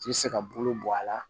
K'i se ka bolo bɔ a la